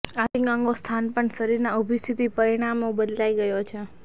આંતરિક અંગો સ્થાન પણ શરીરના ઊભી સ્થિતિ પરિણામે બદલાઈ ગયો છે